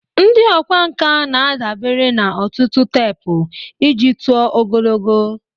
Ndị ọkwá nkà na-adabere na otutu teepu iji tụọ ogologo.